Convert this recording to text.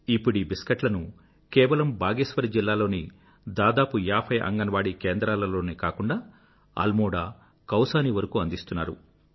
ఇప్పుడీ బిస్కెట్లను కేవలం బాగేశ్వర్ జిల్లా లోని దాదాపు ఏభై అంగన్వాడి కేంద్రాలలోనే కాకుండా అల్మోడా కౌసానీ వరకూ అందిస్తున్నారు